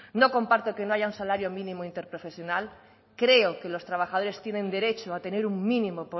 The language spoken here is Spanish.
no comparto que no haya un salario mínimo interprofesional creo que los trabajadores tienen derecho a tener un mínimo